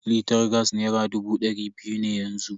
Litar gas nera dubu da dari biyu ne yanzu.